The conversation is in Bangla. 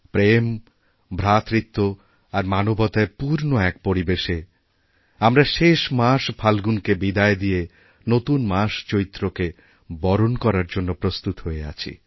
প্রেম ভ্রাতৃত্ব আরমানবতায় পূর্ণ এক পরিবেশে আমরা শেষ মাস ফাল্গুনকে বিদায় দিয়ে নতুন মাস চৈত্রকে বরণকরার জন্য প্রস্তুত হয়ে আছি